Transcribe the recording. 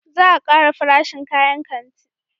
Za a kara farashin kayan kanti